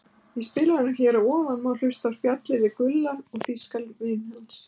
Í spilaranum hér að ofan má hlusta á spjallið við Gulla og þýskan vin hans.